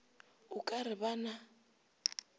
o ka re ba na